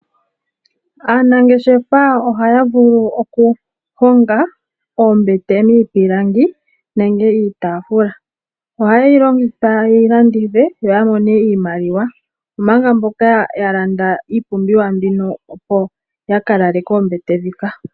Aanangeshefa ohaya vulu oku honga oombete miipilangi nenge iitafula. Ohayi ningwe opo yi landithwe, opo ya mone iimaliwa. Omanga mboka ya landa iipumbiwa mbika opo ya lale koombete ndhika.